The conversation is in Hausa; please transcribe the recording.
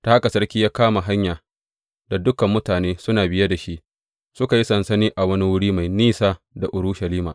Ta haka sarki ya kama hanya da dukan mutane suna biye da shi, suka yi sansani a wani wuri mai ɗan nisa da Urushalima.